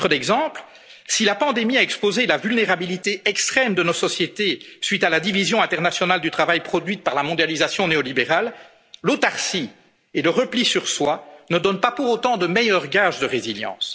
simplistes. À titre d'exemple, si la pandémie a exposé la vulnérabilité extrême de nos sociétés suite à la division internationale du travail produite par la mondialisation néolibérale, l'autarcie et le repli sur soi ne donnent pas pour autant de meilleurs gages